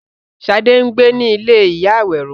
Ṣadé ń gbé ní ilé ìyá Àwẹró.